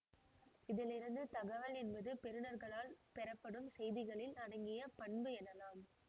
இதலிருந்து தகவல் என்பது பெறுனர்களால் பெறப்படும் செய்திகளில் அடங்கிய பண்பு எனலாம்